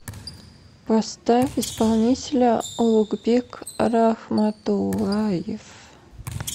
поставь исполнителя улугбек рахматуллаев